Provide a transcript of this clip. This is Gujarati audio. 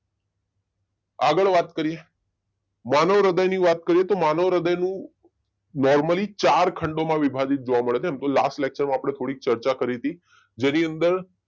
આગળ વાત કરીએ માનવ હૃદય ની વાત કરીએ તો માનવ હૃદય નું નોર્મલી ચાર ખંડો માં વિભાજીત જોવા મળે છે એમ તો લાસ્ટ લેક્ચરમાં આપણે થોડીક ચર્ચા કરી તી જેની અંદર